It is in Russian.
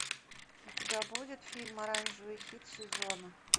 у тебя будет фильм оранжевый хит сезона